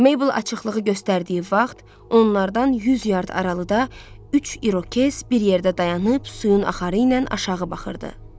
Meybl açıqlığı göstərdiyi vaxt onlardan yüz yard aralıda üç İrokez bir yerdə dayanıb suyun axarı ilə aşağı baxırdı.